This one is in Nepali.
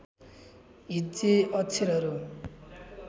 हिज्जे अक्षरहरू